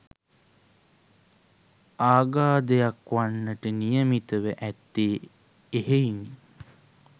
ආගාධයක් වන්නට නියමිතව ඇත්තේ එහෙයිනි.